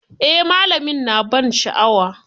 Eh, malami na ban sha'awa.